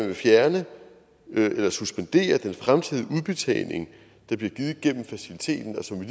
vil fjerne eller suspendere den fremtidige udbetaling der bliver givet gennem faciliteten og som vi